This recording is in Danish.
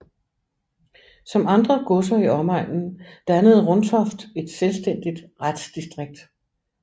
Som andre godser i omegnen dannede Runtoft et selvstændigt retsdistrikt